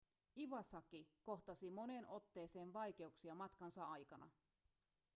iwasaki kohtasi moneen otteeseen vaikeuksia matkansa aikana